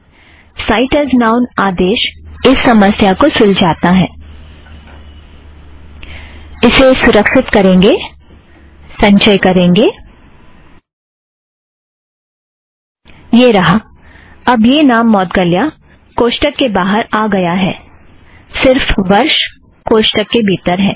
site as noun आदेश इस समस्या को सुलजाता है